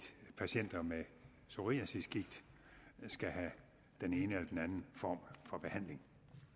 patienter med psoriasisgigt skal have den ene eller den anden form for behandling